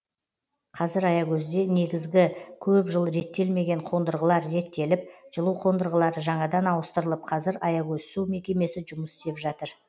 қазір аягөзде негізгі көп жыл реттелмеген қондырғылар реттеліп жылу қондырғылары жаңадан ауыстырылып қазір аягөз су мекемесі жұмыс істеп жатыр